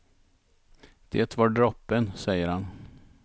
Det var droppen, säger han.